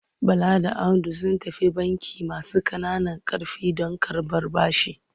Bala da Audu sun tafi bankin masu ƙananan ƙarfi don karɓar bashi.